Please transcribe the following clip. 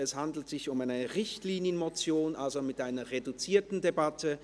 Es handelt sich um eine Richtlinienmotion, also eine reduzierte Debatte.